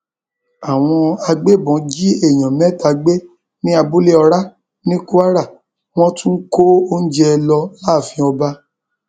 àwọn agbébọn jí èèyàn mẹta gbé ní abúlé ọrá ní kwara wọn tún kó oúnjẹ lọ láàfin ọba